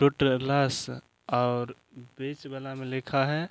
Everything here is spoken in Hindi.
ट्युटोरियल्स और बीच वाला मे लिखा है।